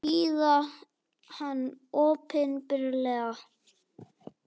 Hýða hann opinberlega!